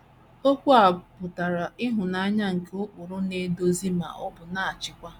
Okwu a pụtara ịhụnanya nke ụkpụrụ na - eduzi ma ọ bụ na - achịkwa.